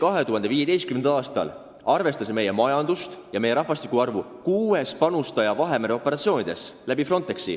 Arvestades meie majandust ja meie rahvaarvu, oli Eesti 2015. aastal kuues panustaja Vahemere operatsioonides, mida viis läbi Frontex.